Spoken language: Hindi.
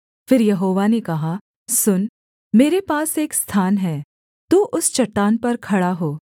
फिर यहोवा ने कहा सुन मेरे पास एक स्थान है तू उस चट्टान पर खड़ा हो